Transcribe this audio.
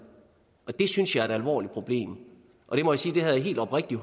det synes jeg er et alvorligt problem og jeg må sige at jeg helt oprigtigt